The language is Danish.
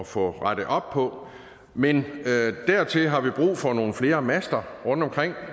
få rettet op på men dertil har vi brug for nogle flere master rundtomkring